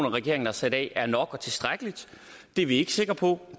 regeringen har sat af er nok det er vi ikke sikre på